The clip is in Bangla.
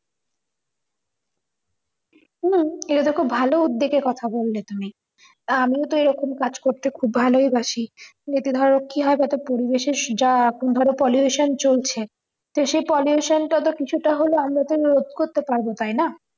এটা তো খুব ভালো উদ্দোগে কথা বললে তুমি তা আমিও তো এইরকম কাজ করতে খুব ভালোই বাসি এতে ধরো কি হয় যাতে পরিবেশের যা এখন ধরো pollution চলছে তো সেই pollution টা কিছুটা হলেও আমরাতো নিরোদ করতে পারবো তাই না